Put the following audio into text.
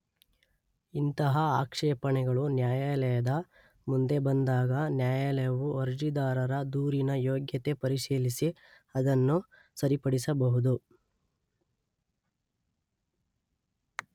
ಇಂತಹ ಆಕ್ಷೇಪಣೆಗಳು ನ್ಯಾಯಾಲಯದ ಮುಂದೆ ಬಂದಾಗ ನ್ಯಾಯಾಲಯವು ಅರ್ಜಿದಾರರ ದೂರಿನ ಯೋಗ್ಯತೆ ಪರಿಶೀಲಿಸಿ ಅದನ್ನು ಸರಿಪಡಿಸಬಹುದು.